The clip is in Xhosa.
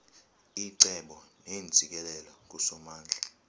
icebo neentsikelelo kusomandla